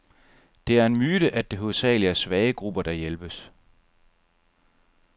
Det er en myte, at det hovedsageligt er svage grupper, der hjælpes.